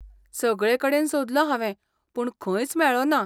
सगळेकडेन सोदलो हावें पूण खंयच मेळ्ळो ना.